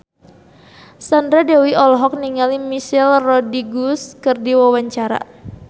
Sandra Dewi olohok ningali Michelle Rodriguez keur diwawancara